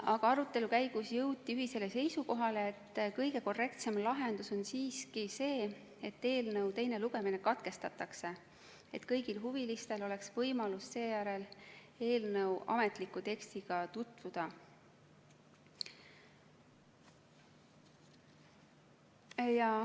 Aga arutelu käigus jõuti ühisele seisukohale, et kõige korrektsem lahendus on siiski eelnõu teine lugemine katkestada, et kõigil huvilistel oleks võimalus seejärel eelnõu ametliku tekstiga tutvuda.